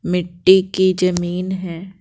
मिट्टी की जमीन है।